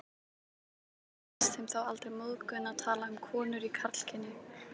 Hvers vegna fannst þeim þá aldrei móðgun að tala um konur í karlkyni?